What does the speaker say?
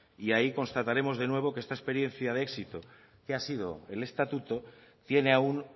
y ahí constataremos de nuevo que esta experiencia de éxito que ha sido el estatuto tiene aún